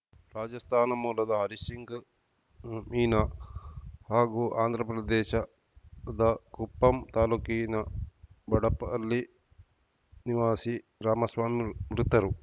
ರಾಜಸ್ಥಾನ ಮೂಲದ ಹರೀಶ್‌ ಸಿಂಗ್‌ ಮೀನಾ ಹಾಗೂ ಆಂಧ್ರ ಪ್ರದೇಶದ ಕುಪ್ಪಂ ತಾಲೂಕಿನ ಬಡಪಲ್ಲಿ ನಿವಾಸಿ ರಾಮಸ್ವಾಮಿ ಮೃತರು